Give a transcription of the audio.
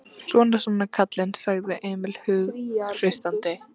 Svona, svona, kallinn, sagði Emil hughreystandi.